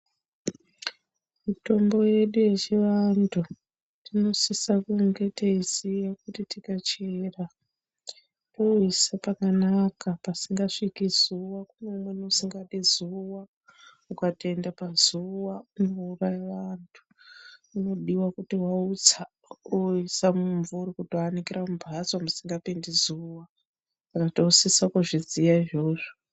Mitombo yedu yechivantu tinosisa kunge teiziya kuti tikachera toiisa pakanaka pasingasviki zuwa kune imweni usingadi zuwa ukatoende pazuwa unouraya vantu inodiwa kuti waitasei wokuisa mumumvuri kutoanikira mumbatso musingapimdi zuwa Saka tinosisa kuzviziya izvozvo.